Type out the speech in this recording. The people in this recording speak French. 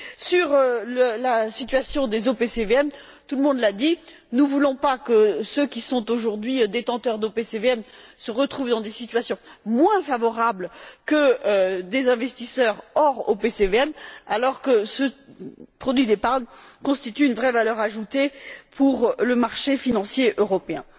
Sur la situation des OPCVM, tout le monde l'a dit, nous ne voulons pas que ceux qui sont aujourd'hui détenteurs d'OPCVM se retrouvent dans des situations moins favorables que des investisseurs hors OPCVM, alors que ce produit d'épargne constitue une vraie valeur ajoutée pour le marché financier européen.